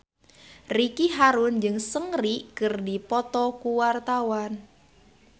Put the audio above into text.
Ricky Harun jeung Seungri keur dipoto ku wartawan